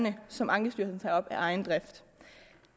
som ankestyrelsen tager op af egen drift